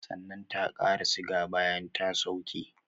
Sannan ta qara siga bayan ta sauke